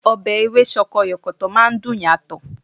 Ọbẹ̀ Ewé sọkọyọ̀kọ̀tọ̀ máa ń dùn yàtọ̀